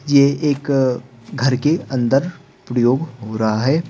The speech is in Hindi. ये एक घर के अंदर प्रयोग हो रहा है।